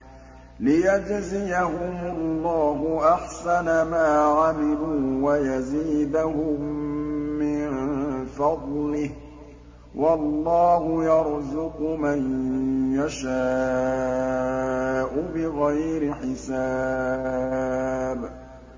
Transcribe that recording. لِيَجْزِيَهُمُ اللَّهُ أَحْسَنَ مَا عَمِلُوا وَيَزِيدَهُم مِّن فَضْلِهِ ۗ وَاللَّهُ يَرْزُقُ مَن يَشَاءُ بِغَيْرِ حِسَابٍ